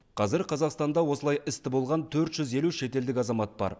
қазір қазақстанда осылай істі болған төрт жүз елу шетелдік азамат бар